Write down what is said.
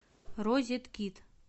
розеткид